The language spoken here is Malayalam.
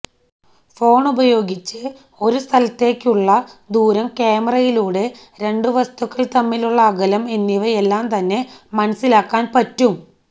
ഫോണുപയോഗിച്ച് ഒരു സ്ഥലത്തേക്കുള്ള ദൂരം ക്യാമറയിലൂടെ രണ്ടു വസ്തുക്കൾ തമ്മിലുള്ള അകലം എന്നിവയെല്ലാം തന്നെ മനസ്സിലാക്കാൻ പറ്റും